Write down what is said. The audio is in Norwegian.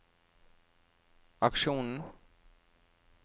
aksjonen